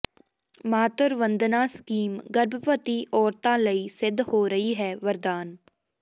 Matru Vandana scheme ਗਰਭਵਤੀ ਔਰਤਾਂ ਲਈ ਸਿੱਧ ਹੋ ਰਹੀ ਹੈ ਵਰਦਾਨ